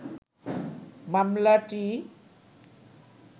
মামলাটি